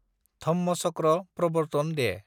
धम्मचक्र प्रवर्तन दे